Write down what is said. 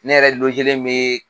Ne yɛrɛ bɛ yen